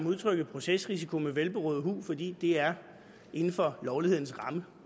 udtrykket procesrisiko med velberåd hu fordi det er inden for lovlighedens rammer